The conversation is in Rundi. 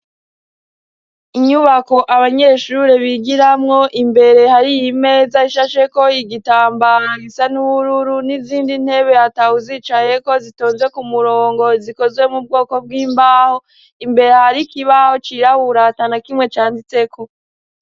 Inyubako abanyeshure bigiramwo imbere hari iyi meza ishashe ko igitambara gisa n'ubururu n'izindi ntebe hatahu zicaye ko zitonze ku murongo zikozwe mu bwoko bw'imbaho imbere hari kibaho cirahuratana kimwe canditse ko.